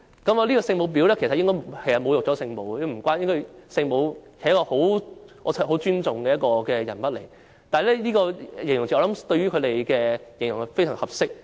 其實這個形容詞侮辱了聖母，聖母是一個我很尊重的人物，但這個形容詞用來形容他們卻非常合適。